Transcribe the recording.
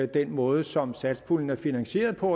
den måde som satspuljen er finansieret på